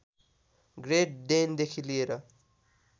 great डेनदेखि लिएर